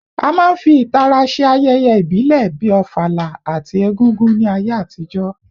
A máa ń fi ìtara ṣe ayẹyẹ ìbílẹ̀ bíi Ofala àti Egúngún ní ayé àtijọ́